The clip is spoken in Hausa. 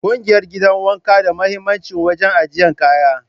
Kugiyar gidan wanka da muhimmanci wajen ajiyan kaya.